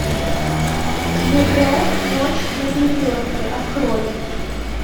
мегрэ ночь на перекрестке открой